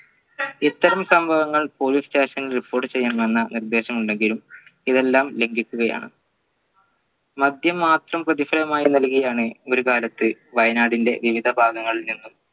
ഇത്തരം സംഭവങ്ങൾ police station ൽ report ചെയ്യാൻ വന്ന നിർദ്ദേശം ഉണ്ടെങ്കിലും ഇതെല്ലാം ലംഘിക്കുകയാണ് മദ്യം മാത്രം പ്രതിഫലമായി നൽകുകയാണ് ഒരു കാലത്ത് വയനാടിന്റെ വിവിധ ഭാഗങ്ങളിൽ നിന്നും